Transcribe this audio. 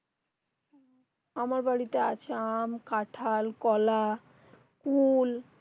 আমার বাড়িতে আছে আম কাঁঠাল কলা কুল